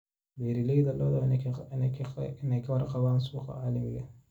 Beeralayda lo'da waa inay ka warqabaan suuqa caalamiga ah.